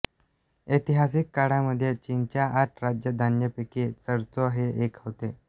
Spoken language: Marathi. ऐतिहासिक काळामध्ये चीनच्या आठ राजधान्यांपैकी चंचौ हे एक होते